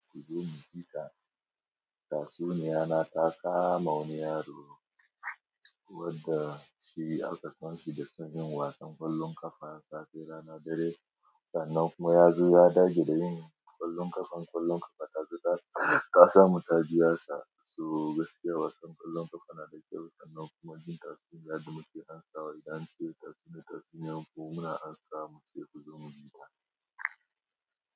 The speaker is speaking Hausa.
Kuzo mu fita. Tatsuniya na ta kama wani yaro wanda shi alkasanci da son yin wasan ƙwallon ƙafa safe, rana, dare, sa'annan kuma ya zo ya dage da yin ƙwallon ƙafan ƙwallon ƙafa. Ta samu ta biya sa so gaskiya wasan ƙwallon ƙafa na da kyau sannan kuma jin tatsuniyar da muke amsawa idan an cire tatsuniya tatsuniyar ku, muna amsawa mu ce "ku zo mu jita".